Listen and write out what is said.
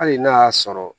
Hali n'a y'a sɔrɔ